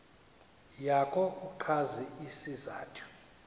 yakho uchaze isizathu